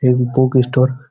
এক বুকস্টোর ।